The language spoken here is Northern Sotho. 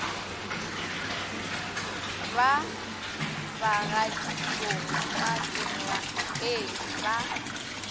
ba bagaditšong ka dirapeng ba